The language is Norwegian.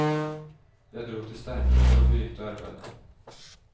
Jeg dro til steinbruddet og begynte å arbeide.